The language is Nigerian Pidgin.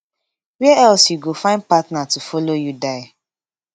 wia else you go find partner to follow you die